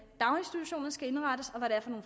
daginstitutionerne skal indrettes